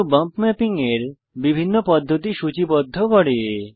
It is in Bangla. এই মেনু বম্প ম্যাপিং এর বিভিন্ন পদ্ধতি সূচিবদ্ধ করে